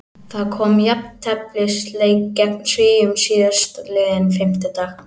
Það kom í jafnteflisleik gegn Svíum síðastliðinn fimmtudag.